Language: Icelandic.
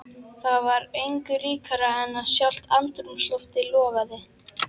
Það var engu líkara en að sjálft andrúmsloftið logaði.